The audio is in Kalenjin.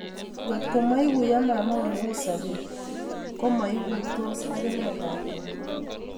Ngotko maikuiyo mama Ole u sobet, komoikuitos akine lakwet